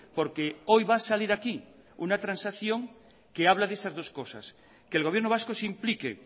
porque hoy va a salir aquí una transacción que habla de esas dos cosas que el gobierno vasco se implique